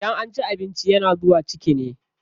Idan an ci abinci yana zuwa ciki ne.